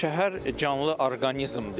Şəhər canlı orqanizmdir.